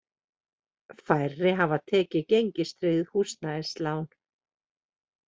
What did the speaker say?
Færri hafi tekið gengistryggð húsnæðislán